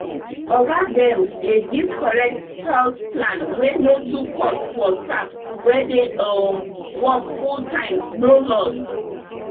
oga dem dey give correct health plan wey no too cost for staff wey dey um work fulltime no loss